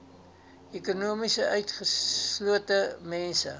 ekonomies utgeslote mense